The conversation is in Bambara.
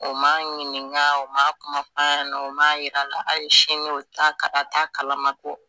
U ma ɲininka u ma kuma fɔ a ɲɛna u ma yir'a la ayi sini u t'a kala a t'a kalama ko.